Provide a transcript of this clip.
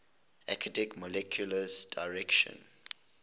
acidic molecules directly